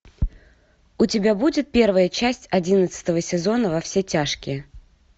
у тебя будет первая часть одиннадцатого сезона во все тяжкие